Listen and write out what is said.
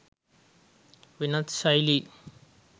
වෙනස් ශෛලීන්